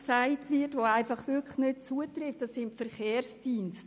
es handelt sich um den Verkehrsdienst.